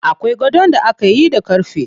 Akwai gadon da akayi da ƙarfe.